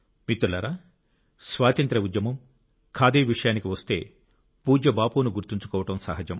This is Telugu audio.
మిత్రులారా స్వాతంత్య్ర ఉద్యమం ఖాదీ విషయానికి వస్తే పూజ్య బాపును గుర్తుంచుకోవడం సహజం